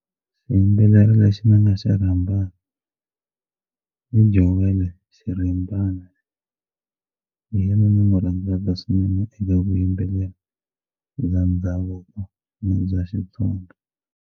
Xiyimbeleri lexi ni nga xa rhambaka i Joel Xirimbana hi yena ni n'wi rhandzaka swinene eka vuyimbeleri bya ndhavuko ni bya Xitsonga.